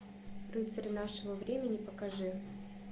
рыцарь нашего времени покажи